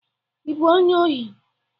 Ị bụ onye ohi?